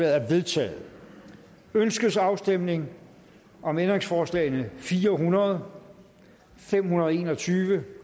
er vedtaget ønskes afstemning om ændringsforslag nummer fire hundrede fem hundrede og en og tyve